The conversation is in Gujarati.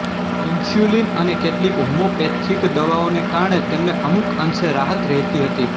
ઇન્સ્યુલિન અને કેટલીક હોમિયોપેથિક દવાઓને કારણે તેમને અમુક અંશે રાહત રહેતી હતી